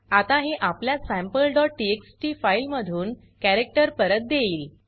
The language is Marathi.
आता हे आपल्या sampleटीएक्सटी फाइल मधून कॅरक्टर परत देईल